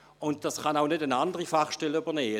Dies kann auch keine andere Fachstelle übernehmen.